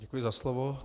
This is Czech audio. Děkuji za slovo.